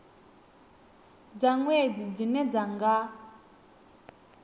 dza nwedzi dzine dza nga